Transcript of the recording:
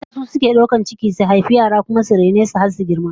Mata su suke daukar ciki su haifi yara, su kuma raine su har su girma